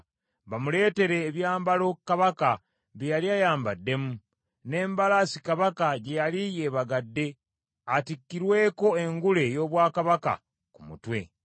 bamuleetere ebyambalo Kabaka bye yali ayambaddemu, n’embalaasi Kabaka gye yali yeebagadde atikkirweko engule ey’obwakabaka ku mutwe.